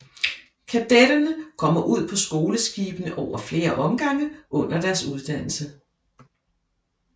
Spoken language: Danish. Kadetterne kommer ud på skoleskibene over flere omgange under deres uddannelse